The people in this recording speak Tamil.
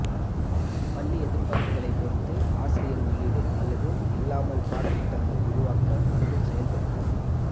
பள்ளி எதிர்பார்ப்புகளை பொறுத்து ஆசிரியர் உள்ளீடு அல்லது இல்லாமல் பாடம் திட்டங்கள் உருவாக்க மற்றும் செயல்படுத்த